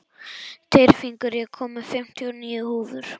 Tyrfingur, ég kom með fimmtíu og níu húfur!